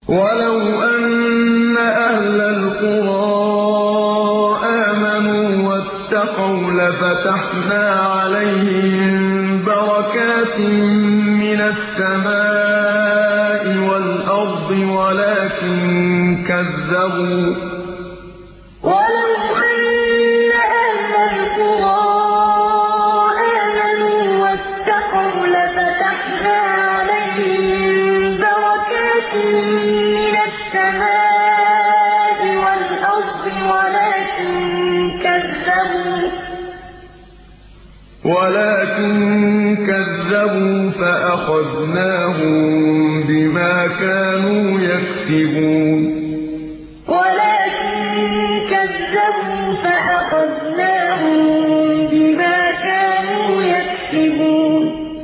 وَلَوْ أَنَّ أَهْلَ الْقُرَىٰ آمَنُوا وَاتَّقَوْا لَفَتَحْنَا عَلَيْهِم بَرَكَاتٍ مِّنَ السَّمَاءِ وَالْأَرْضِ وَلَٰكِن كَذَّبُوا فَأَخَذْنَاهُم بِمَا كَانُوا يَكْسِبُونَ وَلَوْ أَنَّ أَهْلَ الْقُرَىٰ آمَنُوا وَاتَّقَوْا لَفَتَحْنَا عَلَيْهِم بَرَكَاتٍ مِّنَ السَّمَاءِ وَالْأَرْضِ وَلَٰكِن كَذَّبُوا فَأَخَذْنَاهُم بِمَا كَانُوا يَكْسِبُونَ